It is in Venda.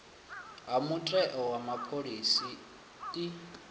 ha mutheo wa phoḽisi i